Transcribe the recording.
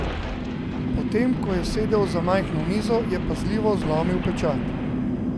Potem ko je sedel za majhno mizo, je pazljivo zlomil pečat.